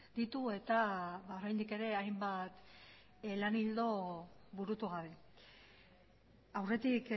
ditu eta oraindik ere hainbat lan ildo burutu gabe aurretik